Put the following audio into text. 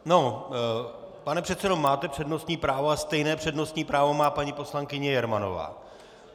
Pane předsedo, máte přednostní právo a stejné přednostní právo má paní poslankyně Jermanová.